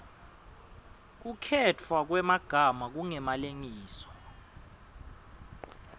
kukhetfwa kwemagama kungemalengiso